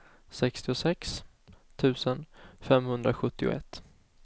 sextiosex tusen femhundrasjuttioett